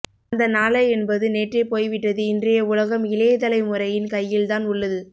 அந்த நாளை என்பது நேற்றே போய்விட்டது இன்றைய உலகம் இளைய தலை முறையின் கையில் தான் உள்ளது